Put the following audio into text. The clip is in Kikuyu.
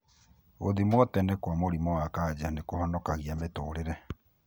Gũthimwo tene kwa mũrimũ wa kanja nĩkũhonokagia mũtũrĩre.